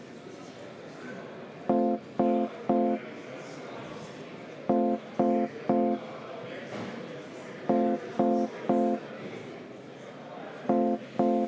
V a h e a e g